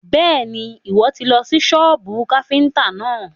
Bẹ́ẹ̀ni, Ìwọ́ tì lọ sí sọ́bù káfíntà náà.